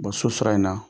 Bɔ so sira in na